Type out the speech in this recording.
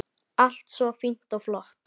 Allt svo fínt og flott.